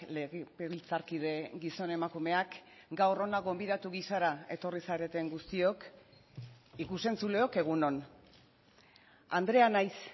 legebiltzarkide gizon emakumeak gaur hona gonbidatu gisara etorri zareten guztiok ikus entzuleok egun on andrea naiz